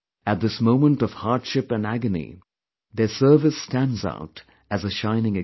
At this moment of hardship&agony, their service stands out as a shining example